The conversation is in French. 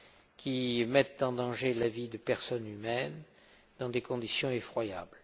qui mettent en danger la vie de personnes humaines dans des conditions effroyables.